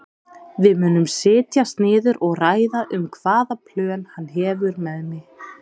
Við munum setjast niður og ræða um hvaða plön hann hefur með mig.